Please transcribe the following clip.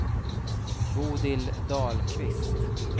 Bodil Dahlqvist